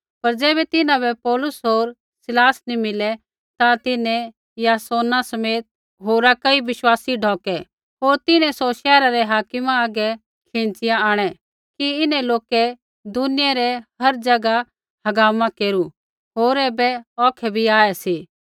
पर ज़ैबै तिन्हां बै पौलुस होर सिलास नी मिलै ता तिन्हैं यासोना समेत होरा कई बिश्वासी ढौकै होर तिन्हैं सौ शैहरा रै हाकिमा हागै बै खिंच़िया आंणै कि इन्हैं लोकै दुनिया रै हर ज़ैगा हगामा केरू होर ऐबै औखै बी आऐ सी